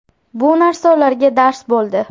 Bu narsa ularga dars bo‘ldi.